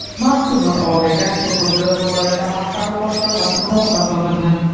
Mazkur maqolaga Surxondaryo viloyati xalq ta’limi boshqarmasi munosabat bildirdi .